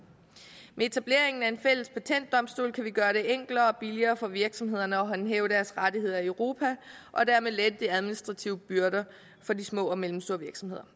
med etableringen af en fælles patentdomstol kan vi gøre det enklere og billigere for virksomhederne at håndhæve deres rettigheder i europa og dermed lette de administrative byrder for de små og mellemstore virksomheder